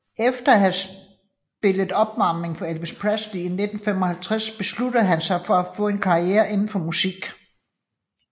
Efter at have spillet opvarmning for Elvis Presley i 1955 besluttede han sig for at få en karriere indenfor musik